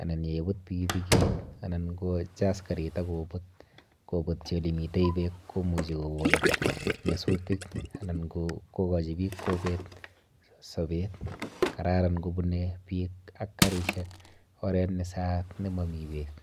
anan yeibut pikipikit anan kochas karit akobut kobutchi olemite beek komuchi kokon nyasutik anan kokochi biik kobeet sobet. Kararan kobune biik ak karishek oret nesaat nemomi beek.